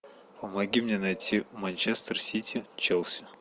помоги мне найти манчестер сити челси